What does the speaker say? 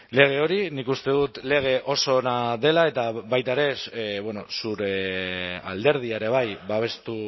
lege hori nik uste dut lege oso ona dela eta baita ere zure alderdia ere bai babestu